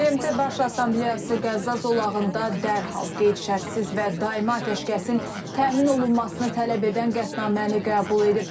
BMT Baş Assambleyası Qəzza zolağında dərhal, qeyd-şərtsiz və daimi atəşkəsin təmin olunmasını tələb edən qətnaməni qəbul edib.